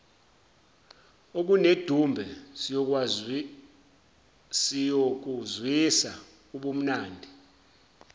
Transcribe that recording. okunedumbe siyokuzwisa ubumnandi